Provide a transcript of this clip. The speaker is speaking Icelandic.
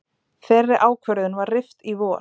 Þeirri ákvörðun var rift í vor